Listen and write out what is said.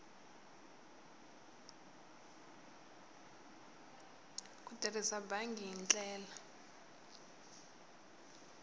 ku tirhisa bangi hi ndlela